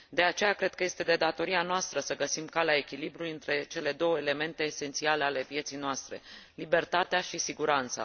De aceea, cred că este de datoria noastră să găsim calea echilibrului între cele două elemente esențiale ale vieții noastre libertatea și siguranța.